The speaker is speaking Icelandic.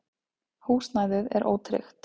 Húsnæðið er ótryggt.